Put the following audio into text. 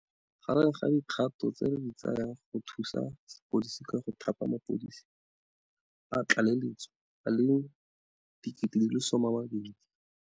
Gareng ga dikgato tse re di tsayang go thusa sepodisi ke go thapa mapodisi a tlaleletso a le 12 000.